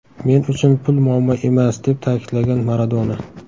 Men uchun pul muammo emas”, deb ta’kidlagan Maradona.